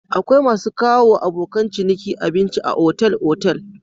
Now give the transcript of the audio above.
Akwai masu kawowa abokan ciniki abinci a otal-otal.